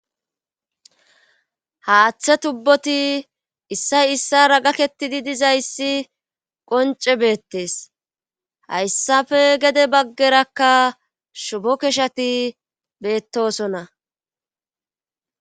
haaththe tubboti issay issara gakettidi dizayssi qonce beettees hayssafe gede baggerakka shubo keshati beettosonna